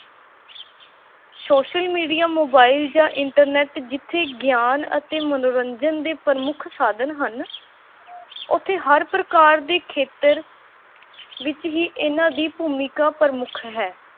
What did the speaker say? social media, mobile ਜਾਂ internet ਜਿੱਥੇ ਗਿਆਨ ਅਤੇ ਮਨੋਰੰਜਨ ਦੇ ਪ੍ਰਮੁੱਖ ਸਾਧਨ ਹਨ ਉੱਥੇ ਹਰ ਪ੍ਰਕਾਰ ਦੇ ਖੇਤਰ ਵਿੱਚ ਹੀ ਇਹਨਾਂ ਦੀ ਭੂਮਿਕਾ ਪ੍ਰਮੁੱਖ ਹੈ।